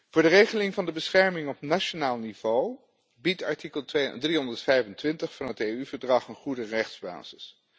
Voor de regeling van de bescherming op nationaal niveau biedt artikel 325 van het EU verdrag een goede rechtsbasis.